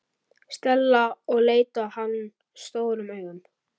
Stella og leit á hann stórum augum.